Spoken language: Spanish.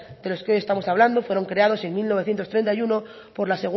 de los que hoy estamos hablando fueron creados en mil novecientos treinta y uno por la